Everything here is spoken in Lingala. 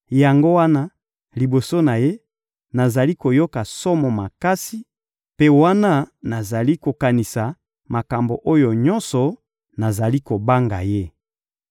Yango wana, liboso na Ye, nazali koyoka somo makasi; mpe wana nazali kokanisa makambo oyo nyonso, nazali kobanga Ye.